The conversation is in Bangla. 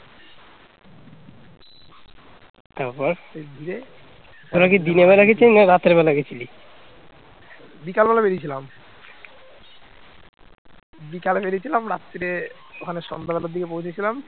বিকালে বেরিয়েছিলাম রাত্রে ওখানে সন্ধ্যাবেলার দিকে পৌঁছেছিলাম